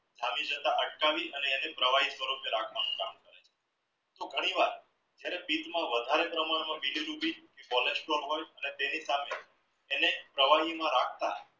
થવી જતાં અટકાવી અને એને પ્રવાહી રખવાનું કામ કરે છે. તો ઘણી વાર જ્યાંરેહ વધારે પ્રમાણ માં cholesterol રાખતા